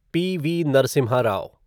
PV. Narasimha Rao